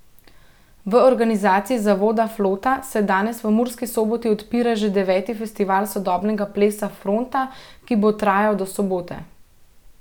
V organizaciji zavoda Flota se danes v Murski Soboti odpira že deveti festival sodobnega plesa Fronta, ki bo trajal do sobote.